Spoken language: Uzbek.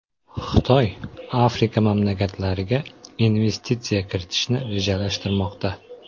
Xitoy Afrika mamlakatlariga investitsiya kiritishni rejalashtirmoqda.